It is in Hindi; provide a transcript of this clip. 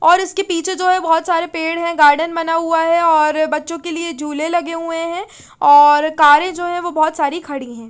और इसके पिछे जो है बोहोत सारी पेड़ है गार्डन बना हुआ है और बच्चो के लिए जुले लगे हुए है और कारे जो है वो बोहोत सारी खड़ी है।